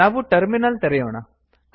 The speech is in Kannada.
ನಾವು ಟರ್ಮಿನಲ್ ತೆರೆಯೋಣ